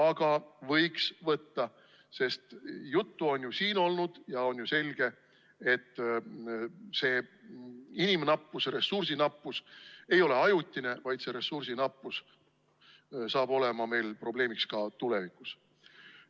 Aga võiks võtta, sest juttu on siin olnud ja on selge, et see inimressursi nappus ei ole ajutine, vaid ressursi nappus saab olema probleemiks ka tulevikus.